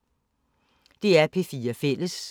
DR P4 Fælles